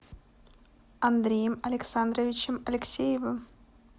андреем александровичем алексеевым